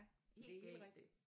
Helt galt